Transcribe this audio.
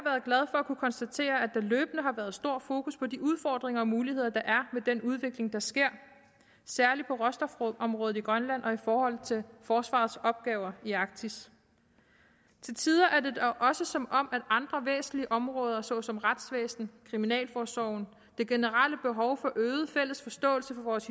at kunne konstatere at der løbende har været stor fokus på de udfordringer og muligheder der er med den udvikling der sker særlig på råstofområdet i grønland og i forhold til forsvarets opgaver i arktis til tider er det da også som om at andre væsentlige områder såsom retsvæsen kriminalforsorgen det generelle behov for øget fælles forståelse for vores